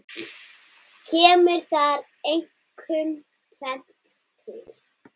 Kemur þar einkum tvennt til.